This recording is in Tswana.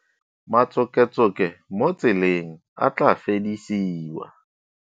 Matsoketsoke mo tseleng a tla fedisiwa.